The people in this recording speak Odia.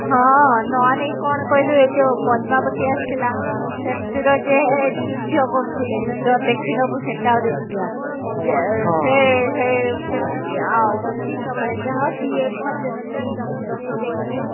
ଏଇ ଯୋଉ ପଦ୍ମାବତି ଆସିଥିଲା ସେଥିରେ ଯେ ଯୁଦ୍ଧ କରୁଥିଲେ ତ ଦେଖିନବୁ ସେଟା ଆହୁରି ବଢିଆ ସେ ସେ ସେ movie ଆଉ ଦିନବେଳେ ଯାହା ଦିଏ ଭଜନ କୀର୍ତ୍ତନ ସବୁ ଦେଖେ